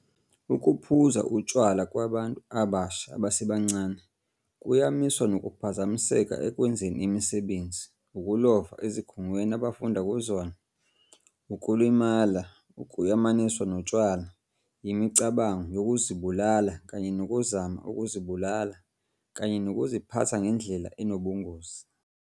Ukuphuza utshwala kwabantu abasha abasebancane kuyamaniswa nokuphazamiseka ekwenzeni imisebenzi, ukulova ezikhungweni abafunda kuzona, ukulimala okuyamaniswa notshwala, imicabango yokuzibulala kanye nokuzama ukuzibulala, kanye nokuziphatha ngendlela enobungozi.